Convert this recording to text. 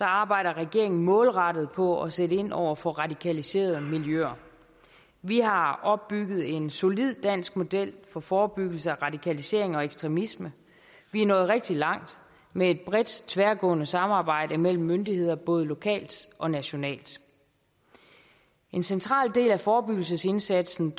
arbejder regeringen målrettet på at sætte ind over for radikaliserede miljøer vi har opbygget en solid dansk model for forebyggelse af radikalisering og ekstremisme vi er nået rigtig langt med et bredt tværgående samarbejde mellem myndigheder både lokalt og nationalt en central del af forebyggelsesindsatsen